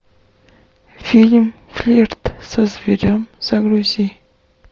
фильм флирт со зверем загрузи